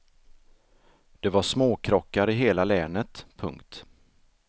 Det var småkrockar i hela länet. punkt